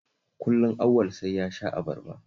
Kullum Auwal sai ya sha abarba